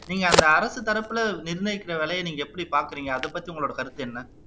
நீங்க அந்த அரசு தரப்புல நிர்ணயிக்கிற வேலையை நீங்க எப்படி பார்க்கிறீங்க அதை பத்தி உங்களோட கருத்து என்ன